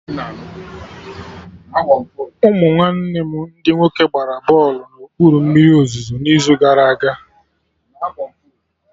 Ụmụ nwanne m ndị nwoke gbara bọlụ na okpuru mmiri ozuzo n'izu gara aga